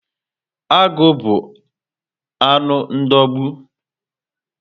Agụ bu anụ ndogbu